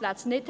aus.